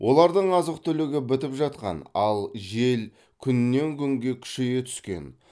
олардың азық түлігі бітіп жатқан ал жел күннен күнге күшейе түскен